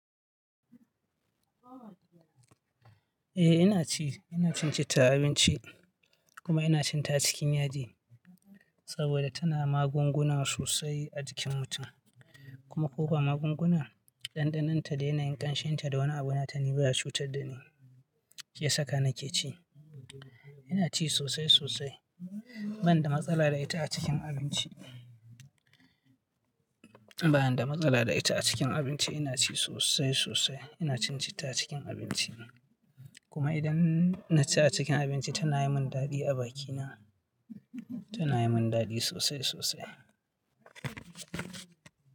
Eh ina ci, ina cin cita a abinci kuma ina cin ta cikin yaji saboda tana magunguna sosai a jikin mutum. Kuma ko ba magunguna, ɗanɗanon ta da yanayin ƙanshin ta da wani abu na ta nata ni baya cutar da ni, ke saka na ke ci. Ina ci sosai sosai banda matsala da ita a cikin abinci. Bani da matsala da ita a cikin abinci ina ci sosai-sosai. Ina cin cita cikin abinci kuma idan na ci a cikin abinci tana yi mun daɗi a bakina, tana yi mun daɗi sosai sosai.